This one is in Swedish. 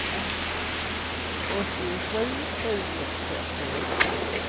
åttiosju tusen fyrtioåtta